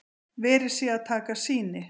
Verið sé að taka sýni